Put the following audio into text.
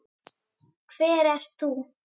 Hver ert þú?